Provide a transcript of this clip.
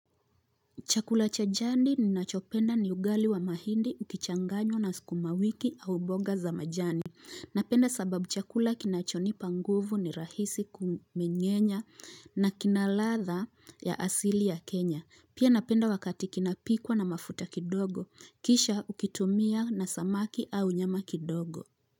Chakula cha jadi ninachopenda ni ugali wa mahindi, ukichanganywa na skumawiki au boga za majani. Napenda sababu chakula kinachonipa nguvu ni rahisi kumenyenya na kinaladha ya asili ya Kenya. Pia napenda wakati kinapikwa na mafuta kidogo. Kisha ukitumia na samaki au nyama kidogo.